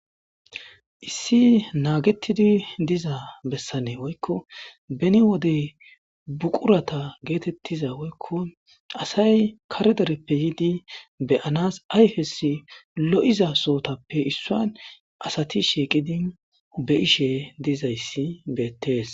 issi naagetidi diza bessanee woykko beni wodey buqurata geetettiza woykko asay kare dereppe yiidi beyanas ayfes lo7iza sootappe issuan asati shiiqidi beyishe dizayssi beettees